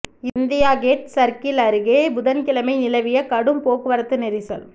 India gate circle அருகே புதன்கிழமை நிலவிய கடும் போக்குவரத்து நெரிசல்